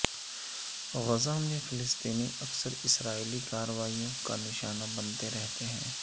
غزہ میں فلسطینی اکثر اسرائیلی کارروائیوں کا نشانہ بنتے رہتے ہیں